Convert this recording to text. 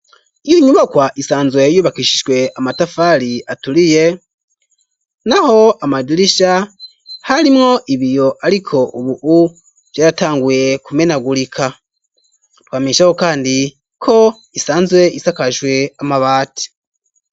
Iyo nyubakwa isanzwe yubakishijwe amatafari aturiye naho amadirisha harimwo ibiyo ariko ubu vyaratanguye kumenagurika twamishaho kandi ko isanzwe isakajwe amabati.